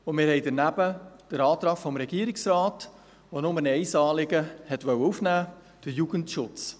Daneben haben wir den Antrag des Regierungsrates, der nur ein Anliegen aufnehmen wollte: den Jugendschutz.